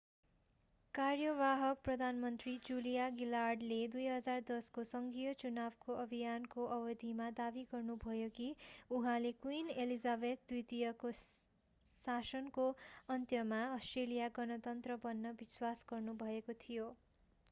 कार्यवाहक प्रधानमन्त्री जुलिया गिलार्डले 2010 को संघीय चुनावको अभियानको अवधिमा दाबी गर्नुभयो कि उहाँले क्विन एलिजाबेथ द्वितीयको शासनको अन्त्यमा अस्ट्रेलिया गणतन्त्र बन्ने विश्वास गर्नुभएको थियो